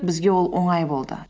бізге ол оңай болды